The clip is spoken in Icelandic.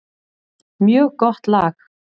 Mjög gott lag.